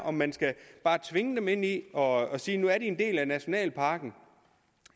om man skal tvinge dem ind i det og sige at nu er de en del af nationalparken